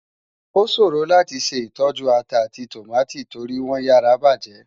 Oṣórò láti ṣé itòjú átà áti tómátó tóri wòn yàrá bájè.